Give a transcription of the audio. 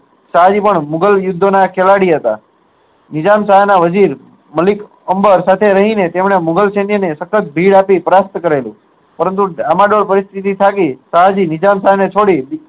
શહા જી પણ મુગલ યુદ્ધ ના ખેલાડી હતા નિજામ શાહ ના વજીર માલિક અંબર સાથે રહી ને તેમને મુગલ શૈન્ય સખત આપી પ્રાપ્ત કરેલુ પરંતુ આમાં જે પરીસ્તીથી ફાટી શાહજી નિઝામ શાહ ને છોડી